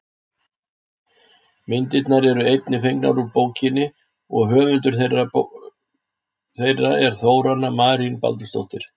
myndirnar eru einnig fengnar úr bókinni og höfundur þeirra er þórarna marín baldursdóttir